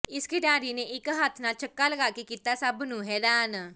ਇਸ ਖਿਡਾਰੀ ਨੇ ਇੱਕ ਹੱਥ ਨਾਲ ਛੱਕਾ ਲਗਾ ਕੇ ਕੀਤਾ ਸਭ ਨੂੰ ਹੈਰਾਨ